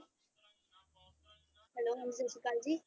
Hello ਹਾਂਜੀ ਸਤਿ ਸ੍ਰੀ ਅਕਾਲ ਜੀ।